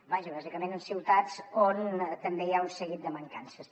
vaja bàsicament en ciutats on també hi ha un seguit de mancances